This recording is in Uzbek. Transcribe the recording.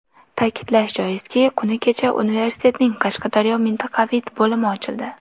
Ta’kidlash joizki, kuni kecha universitetning Qashqadaryo mintaqaviy bo‘limi ochildi.